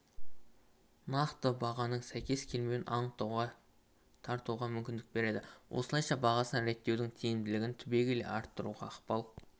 нақты бағаның сәйкес келмеуін анықтауға тартуға мүмкіндік береді осылайша бағасын реттеудің тиімділігін түбегейлі арттыруға ықпал